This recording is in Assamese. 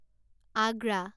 আগ্ৰা